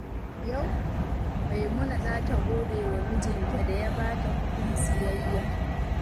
Yau, Maimuna za ta gode wa mijinta da ya ba ta kuɗin siyayya.